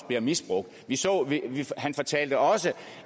bliver misbrugt han fortalte også